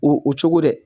O o cogo dɛ